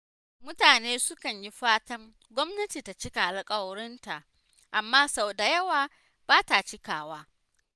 Mutane sukan yi fatan gwamnati ta cika alƙawuranta, amma sau da yawa bata cikawa.